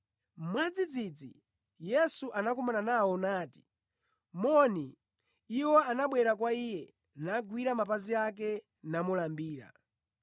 Mwadzidzidzi Yesu anakumana nawo nati, “Moni.” Iwo anabwera kwa Iye, nagwira mapazi ake namulambira.